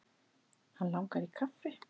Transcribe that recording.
Hann langar í kaffi.